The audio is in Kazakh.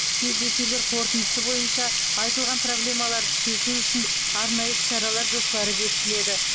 кездесулер қорытындысы бойынша айтылған проблемаларды шешу үшін арнайы іс шаралар жоспары бекітіледі